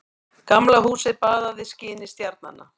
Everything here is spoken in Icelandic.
Gamla húsið baðað skini stjarnanna.